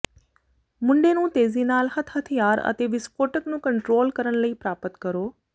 ਮੁੰਡੇ ਨੂੰ ਤੇਜ਼ੀ ਨਾਲ ਹੱਥ ਹਥਿਆਰ ਅਤੇ ਵਿਸਫੋਟਕ ਨੂੰ ਕੰਟਰੋਲ ਕਰਨ ਲਈ ਪ੍ਰਾਪਤ ਕਰੋ